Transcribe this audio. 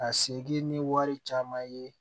A seki ni wari caman ye